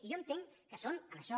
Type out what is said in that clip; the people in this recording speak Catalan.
i jo entenc que són en això